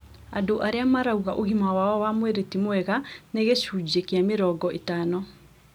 Andũ arĩa marauga ũgima wao wa mwĩrĩ ti mwega nĩ gĩcunjĩ kĩa mĩrongo ĩtano